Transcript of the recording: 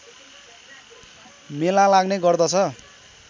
मेला लाग्ने गर्दछ